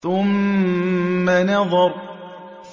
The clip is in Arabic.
ثُمَّ نَظَرَ